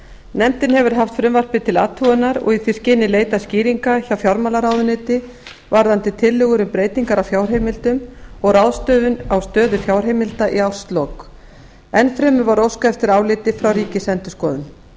nefndin hefur haft frumvarpið til athugunar og í því skyni leitað skýringa hjá fjármálaráðuneyti varðandi tillögur um breytingar á fjárheimildum og ráðstöfun á stöðu fjárheimilda í árslok enn fremur var óskað eftir áliti frá ríkisendurskoðun